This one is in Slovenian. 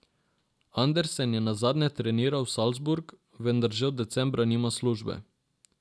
Andersen je nazadnje treniral Salzburg, vendar že od decembra nima službe.